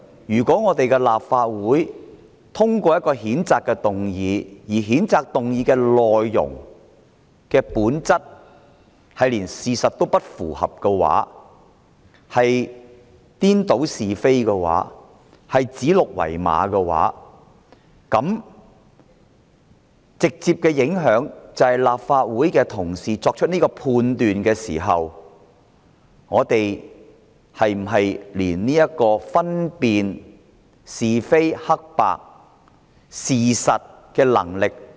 如果立法會通過一項譴責議案，而譴責議案的內容歪曲事實、顛倒是非、指鹿為馬，是否表示立法會同事作出判斷時，已喪失分辨是非黑白的能力？